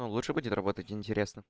ну лучше будет работать интересно